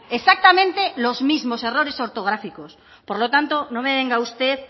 exactamente los mismos errores ortográficos por lo tanto no me venga usted